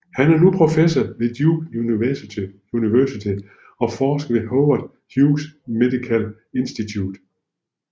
Han er nu professor ved Duke University og forsker ved Howard Hughes Medical Institute